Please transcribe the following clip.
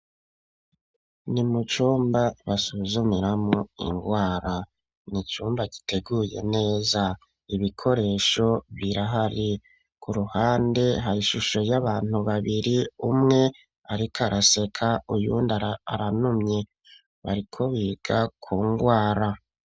Ni mu cumba basuzumiramo indwara ni cumba giteguye neza ibikoresho birahari ku ruhande ha ishusho y'abantu babiri umwe ariko araseka uynda aranumye bariko biga kungwara.